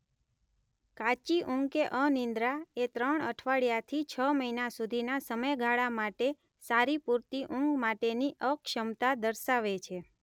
કાચી ઊંઘ કે અનિદ્રા એ ત્રણ અઠવાડિયાથી છ મહિના સુધીના સમયગાળા માટે સારી-પૂરતી ઊંઘ માટેની અક્ષમતા દર્શાવે છે.